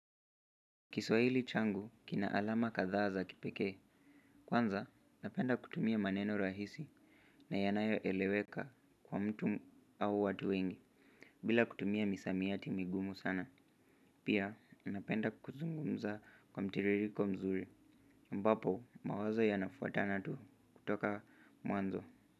Kiswahili changu kina alama kadhaa za kipekee. Kwanza napenda kutumia maneno rahisi na yanayoeleweka kwa mtu au watu wengi. Bila kutumia misamiati migumu sana. Pia napenda kuzungumza kwa mtiririko mzuri. Ambapo mawazo yanafuatana tu kutoka mwanzo.